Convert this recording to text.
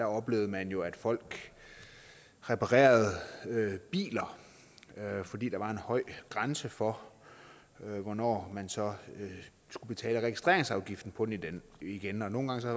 oplevede man jo at folk reparerede biler fordi der var en høj grænse for hvornår man så skulle betale registreringsafgiften på den igen og nogle gange var